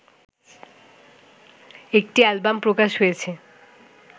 একটি অ্যালবাম প্রকাশ হয়েছে